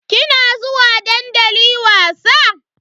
Kina zuwa dandali wasa?